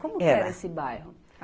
Como que era esse bairro?